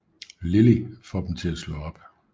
Lily får dem til at slå op